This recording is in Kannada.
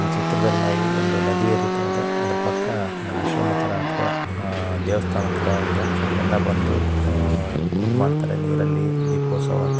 ಈ ಚಿತ್ರದಲ್ಲಿ ನಾವು ಒಂದು ನದಿ ಹರಿತಾ ಇದೆ ಅದರ ಪಕ್ಕಾ ಒಂದು ಆಶ್ರಮಥರ ಅಥವಾ ದೆವಸ್ಥಾನದತರ ಇದೆ ಸೊ ಇಲ್ಲ ಎಲ್ಲಾ ಬಂದು ಅಹ್‌ ಇದು ಮಾಡ್ತಾರೆ ನಿರಲ್ಲಿ ದಿಪೊಸ್ತವ ಆಚ --